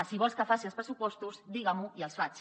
si vols que faci els pressupostos diga m’ho i els faig